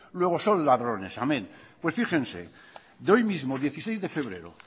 luego son ladrones amen pues fíjense de hoy mismo dieciséis de febrero